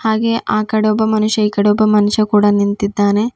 ಹಾಗೆ ಆಕಡೆ ಒಬ್ಬ ಮನುಷ್ಯ ಇಕಡೆ ಒಬ್ಬ ಮನುಷ್ಯ ಕೂಡ ನಿಂತಿದ್ದಾನೆ.